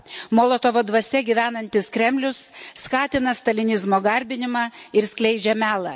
Molotovo dvasia gyvenantis Kremlius skatina stalinizmo garbinimą ir skleidžia melą.